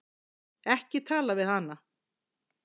Ekki tala við hana!